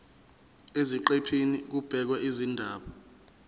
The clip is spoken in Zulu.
eziqephini kubhekwe izindaba